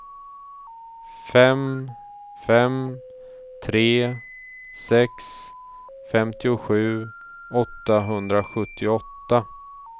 fem fem tre sex femtiosju åttahundrasjuttioåtta